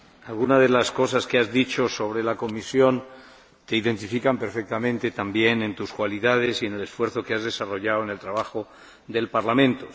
Alguna de las cosas que has dicho sobre la comisión te identifica perfectamente también en tus cualidades y en el esfuerzo que has desarrollado en el trabajo del Parlamento.